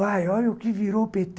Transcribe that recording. Pai, olha o que virou o pê tê